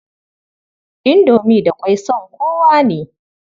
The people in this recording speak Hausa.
Indomi da ƙwai son kowa ne.